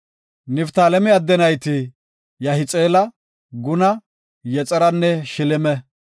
Niftaaleme adde nayti Yahixeela, Guna, Yexeranne Shileme.